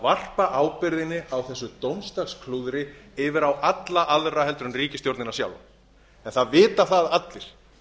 varpa ábyrgðinni á þessu dómadagsklúðri yfir á alla aðra en ríkisstjórnina sjálfa en það vita það allir